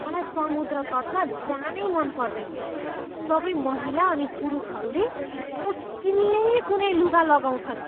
मलाई समुद्र तटमा जानै मन पर्दैन। सबै महिला अनि पुरुषहरूले मुस्किलले कुनै लुगा लगाउँछन्।